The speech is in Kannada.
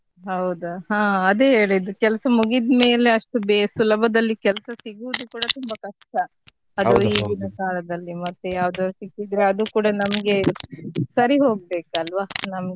ಹೌದಾ ಹಾ ಅದೇ ಹೇಳಿದ್ದು ಕೆಲಸ ಮುಗ್ಗಿದ್ಮೇಲೆ ಅಷ್ಟು ಬೇಗ ಅಷ್ಟು ಸುಲಭದಲ್ಲಿ ಕೆಲಸ ಸಿಗುದು ಕೂಡ ತುಂಬಾ ಕಷ್ಟ ಅದು ಈಗಿನ ಕಾಲದಲ್ಲಿ ಮತ್ತೆ ಯಾವ್ದೋ ಸಿಕ್ಕಿದ್ರೆ ಅದು ಕೂಡ ನಮ್ಗೆ ಸರಿ ಹೋಗ್ಬೇಕಲ್ವಾ ನಮ್ಗೆ.